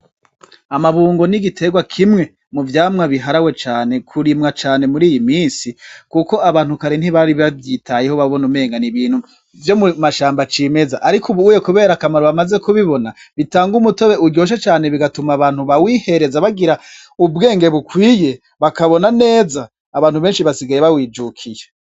Amabungo nigiterwa kimwe mu vyamwa biharawe cane kurimwa cane muri iyi misi, kuko abantukare ntibari bavyitayeho babona umengan'ibintu vyo mu mashambo acimeza, ariko ubuye, kubera akamaro bamaze kubibona bitanga umutobe uryoshe cane bigatuma abantu ba wihereza bagira ubwenge bukwiye bakabona neza abantu benshi basigaye bawijukiye.